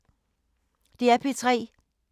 DR P3